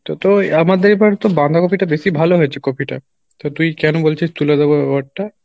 এই তো তোর আমাদের এবার তোর বাঁধাকপি টা বেশি ভালো হয়েছে কপি টা তো তুই কেনো বলছিস তুলে দেবো ব্যাপারটা?